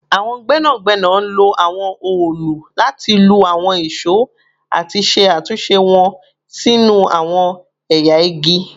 Awọn gbẹnagbẹna lo awọn òòlù lati lu awọn ìṣó ati ṣe atunṣe wọn sinu awọn ẹya igi